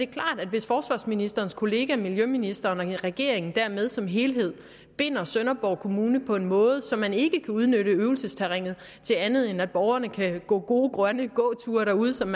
klart at hvis forsvarsministerens kollega miljøministeren og regeringen dermed som helhed binder sønderborg kommune på en måde så man ikke kan udnytte øvelsesterrænet til andet end at borgerne kan gå gode grønne gåture derude som